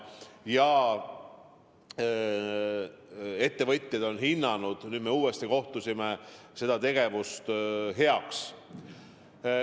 Ja ettevõtjad on hinnanud – me äsja uuesti kohtusime – selle tegevuse heaks.